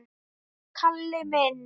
Kalli minn!